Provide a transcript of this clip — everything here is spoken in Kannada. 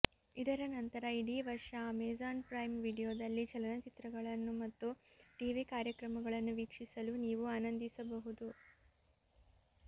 ಇದರ ನಂತರ ಇಡೀ ವರ್ಷ ಅಮೆಜಾನ್ ಪ್ರೈಮ್ ವಿಡಿಯೊದಲ್ಲಿ ಚಲನಚಿತ್ರಗಳನ್ನು ಮತ್ತು ಟಿವಿ ಕಾರ್ಯಕ್ರಮಗಳನ್ನು ವೀಕ್ಷಿಸಲು ನೀವು ಆನಂದಿಸಬಹುದು